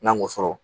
N'an y'o sɔrɔ